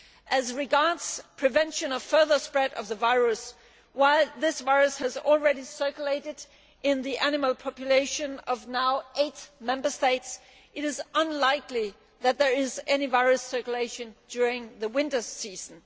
As regards prevention of further spread of the virus, while this virus has already circulated in the animal population of eight Member States now, it is unlikely that there is any virus circulation during the winter season.